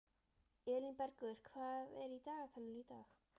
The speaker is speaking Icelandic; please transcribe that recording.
Elínbergur, hvað er í dagatalinu í dag?